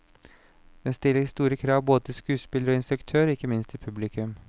Den stiller store krav til både skuespillere og instruktør, og ikke minst til publikum.